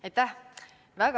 Aitäh!